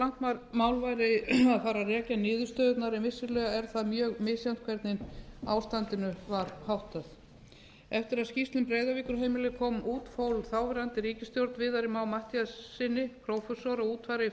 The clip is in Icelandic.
langt mál væri að fara að rekja niðurstöðurnar en vissulega er það mjög misjafnt hvernig ástandinu var háttað eftir að skýrsla um breiðavíkurheimilið kom út fól þáverandi ríkisstjórn viðari má matthíassyni prófessor að útfæra í